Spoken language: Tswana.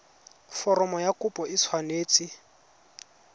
foromo ya kopo e tshwanetse